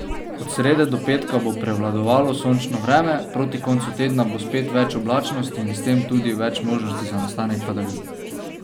Od srede do petka bo prevladovalo sončno vreme, proti koncu tedna bo spet več oblačnosti in s tem tudi več možnosti za nastanek padavin.